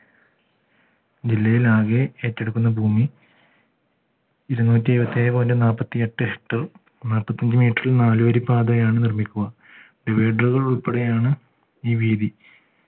ജില്ലയിൽ ആകെ ഏറ്റെടുക്കുന്ന ഭൂമി ഇരുനൂറ്റി ഏഴുവത്തേഴ് point നാല്പത്തിയെട്ട് നാല്പത്തഞ്ജ് meter ൽ നാലുവരി പാതയാണ് നിർമിക്കുക divider ഉകൾ ഉൾപ്പെടെയാണ് ഈ വീഥി